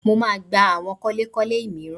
Mo máa gba àwọn kọ́lékọ́lé mìíràn